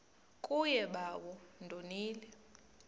kuye bawo ndonile